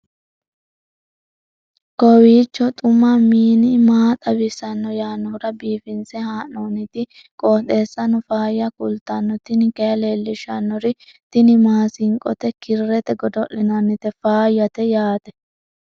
kowiicho xuma mtini maa xawissanno yaannohura biifinse haa'noonniti qooxeessano faayya kultanno tini kayi leellishshannori tini maasinqote kirrete godo'linannite faayyate yaatte